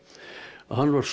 hann var